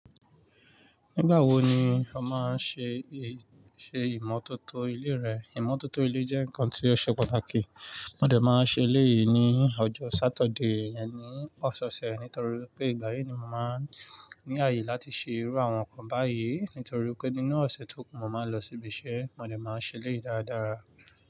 Nígbà wo ni o máa ń ṣe, ṣe ìmọ̀tótó ilé rẹ? Ìmọ̀tótó ilé jẹ́ nǹkan tí ó ṣe pàtàkì. Mo dẹ̀ máa ṣe eléyìí ní ọjọ́ Saturday, ẹni ọ̀sẹ̀ ọ̀sẹ̀ nítorí pé ìgbà yí ni mo máa ń ní àyè láti ṣe irú àwọn nǹkan báyìí nítorí pé nínú ọ̀sẹ̀ tó kún, mo máa ń lọ sí ibi iṣẹ́. Mo dẹ̀ máa ṣe eléyìí dáadáa.